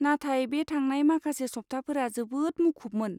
नाथाय बे थांनाय माखासे सप्ताफोरा जोबोद मुखुबमोन।